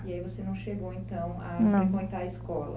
E aí você não chegou, então, a não frequentar a escola?